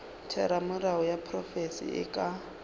theramelao ya profense e ka